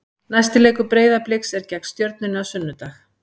Næsti leikur Breiðabliks er gegn Stjörnunni á sunnudag.